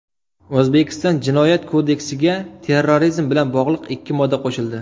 O‘zbekiston Jinoyat kodeksiga terrorizm bilan bog‘liq ikki modda qo‘shildi.